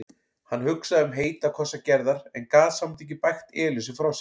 Hann hugsaði um heita kossa Gerðar en gat samt ekki bægt Elísu frá sér.